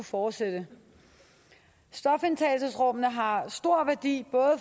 fortsætte stofindtagelsesrummene har stor værdi